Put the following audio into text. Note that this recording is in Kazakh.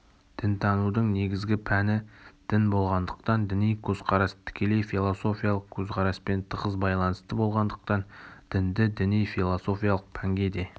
дінтанудың негізгі пәні дін болғандыктан діни көзкарас тікелей философиялық көзқараспен тығыз байланысты болғандықтан дінді діни философиялық пәнге де